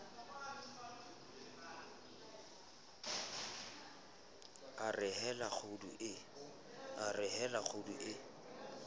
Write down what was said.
a re hela kgudu e